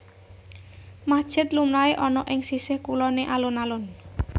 Masjid lumrahé ana ing sisih kuloné alun alun